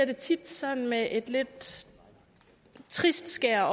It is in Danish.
det tit sådan et lidt trist skær